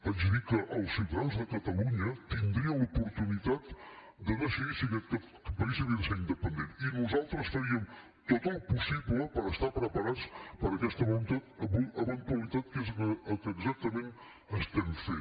vaig dir que els ciutadans de catalunya tindrien l’oportunitat de decidir si aquest país havia de ser independent i nosaltres faríem tot el possible per estar preparats per a aquesta eventualitat que és el que exactament estem fent